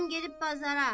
Ağam gedib bazara.